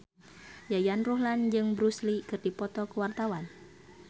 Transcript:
Yayan Ruhlan jeung Bruce Lee keur dipoto ku wartawan